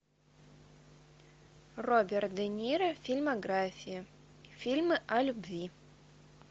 роберт де ниро фильмография фильмы о любви